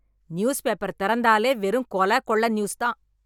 News paper திறந்தாலே வெறும் கொல, கொள்ள நியூஸ் தான்.